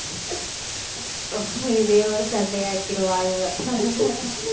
இதையே ஒரு சண்டையாக்கிடுவா இவ